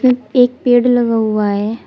एक पेड़ लगा हुआ है।